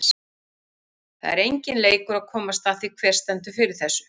Það er enginn leikur að komast að því, hver stendur fyrir þessu.